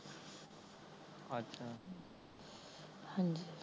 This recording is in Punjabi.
ਹਾਂਜੀ